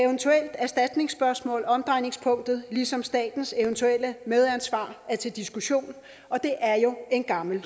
erstatningsspørgsmål omdrejningspunktet ligesom statens eventuelle medansvar er til diskussion og det er jo en gammel